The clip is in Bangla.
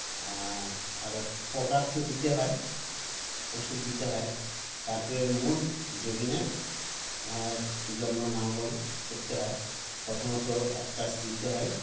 আ আর পোকার তো দিতে হয় ওষুধ দিতে হয় তারপরে মূল জবিনের এ জন্য নাঙ্গল করতে হয় প্রথমত একচাষ দিতে হয়